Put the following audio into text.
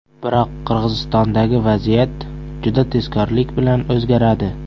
Biroq Qirg‘izistondagi vaziyat juda tezkorlik bilan o‘zgaradi.